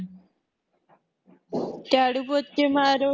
ਝਾੜੂ ਪੋਚੇ ਮਾਰੋ